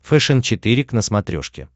фэшен четыре к на смотрешке